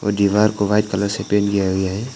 दीवार को white colour से पेंट किया गया है।